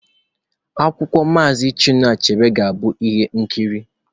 Akwụkwọ Maazi Chinua Achebe ga-abụ ihe nkiri.